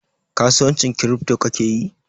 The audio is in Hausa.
kasuwancin kiripto ka kake yi?